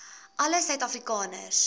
alle suid afrikaners